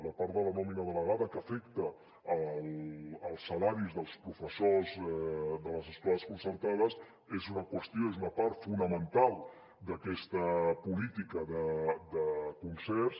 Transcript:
la part de la nòmina delegada que afecta els salaris dels professors de les escoles concertades és una qüestió és una part fonamental d’aquesta política de concerts